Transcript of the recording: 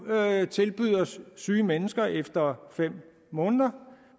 tilbyder syge syge mennesker efter fem måneder